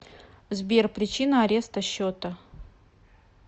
сбер причина ареста счета